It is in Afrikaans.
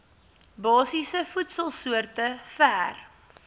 basiese voedselsoorte ver